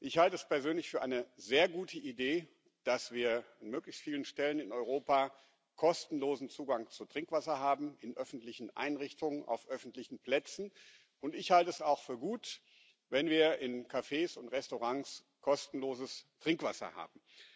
Ich halte es persönlich für eine sehr gute Idee, dass wir an möglichst vielen Stellen in Europa kostenlosen Zugang zu Trinkwasser haben in öffentlichen Einrichtungen, auf öffentlichen Plätzen und ich halte es auch für gut, wenn wir in Cafés und Restaurants kostenloses Trinkwasser haben.